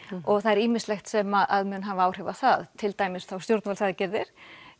og það er ýmislegt sem mun hafa áhrif á það til dæmis stjórnvalds aðgerðir